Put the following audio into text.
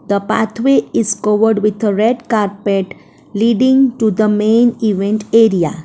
the path way is covered with red carpet leading to the main event area.